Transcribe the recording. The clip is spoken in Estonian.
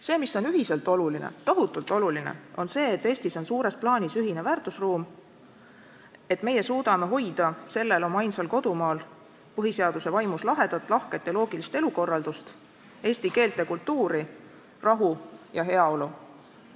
See, mis on ühiselt oluline, tohutult oluline, on see, et Eestis on suures plaanis ühine väärtusruum, et meie suudame hoida sellel oma ainsal kodumaal põhiseaduse vaimus lahedat, lahket ja loogilist elukorraldust, eesti keelt ja kultuuri, rahu ja heaolu.